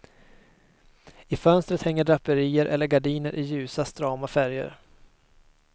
I fönstret hänger draperier eller gardiner i ljusa, strama färger.